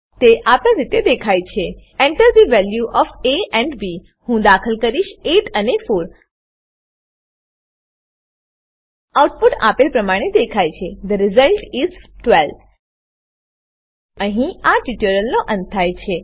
તે આપેલ રીતે દેખાય છે Enter the value of A and B હું દાખલ કરીશ 8 અને 4 આઉટપુટ આપેલ પ્રમાણે દેખાય છે થે રિઝલ્ટ is 12 અહીં આ ટ્યુટોરીયલનો અંત થાય છે